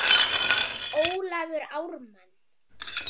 Ólafur Ármann.